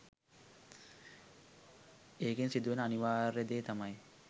ඒකෙ සිදුවෙන අනිවාර්ය දේ තමයි